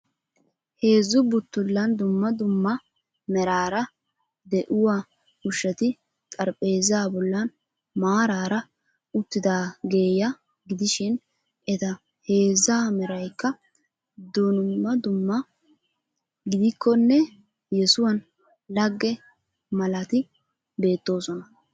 Heezzu buttullan dumma dumma meraara de'iua ushshati xaraphpheezzaa bollan maaraara uttidaageeya gidishin eta heezzaa meraykka dunmma dumma gidikkonne yesuwan lagge malati beettooso.